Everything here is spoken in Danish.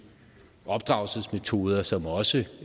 opdragelsesmetoder som også